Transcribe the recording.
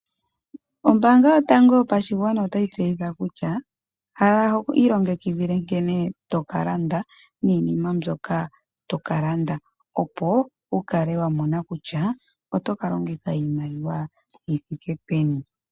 Ombaanga yo tango yo pashigwana otayi tse yitha kutya, kala ho I longekidhile nkene to kalanda, nii nima mbyoka to kalanda opo wu kale wa mona kutya oto ka longitha iimaliwa yi thike peni.